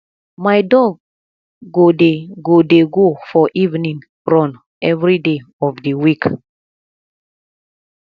my dog go dey go dey go for evening run everyday of the week